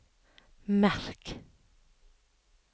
merk